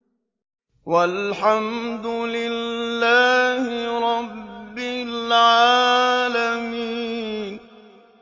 وَالْحَمْدُ لِلَّهِ رَبِّ الْعَالَمِينَ